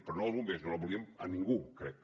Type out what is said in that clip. però no els bombers no no la volíem ningú crec